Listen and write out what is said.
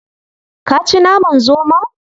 Ka ci naman zomon?